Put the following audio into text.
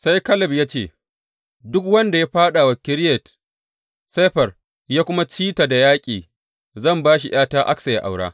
Sai Kaleb ya ce, Duk wanda ya fāɗa wa Kiriyat Sefer ya kuma ci ta da yaƙi, zan ba shi ’yata Aksa yă aura.